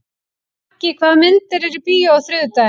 Maggi, hvaða myndir eru í bíó á þriðjudaginn?